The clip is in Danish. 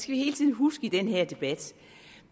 vi hele tiden huske i den her debat